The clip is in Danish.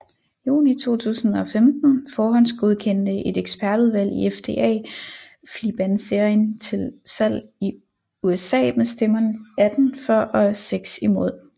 Juni 2015 forhåndsgodkendte et ekspertudvalg i FDA Flibanserin til salg i USA med stemmerne 18 for og 6 imod